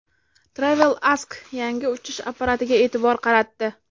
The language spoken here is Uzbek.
TravelAsk yangi uchish apparatiga e’tibor qaratdi .